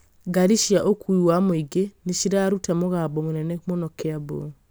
Ngari cia ũkuui wa mũingĩ nĩ cirarũta mũgambo mũnene mũno Kiambu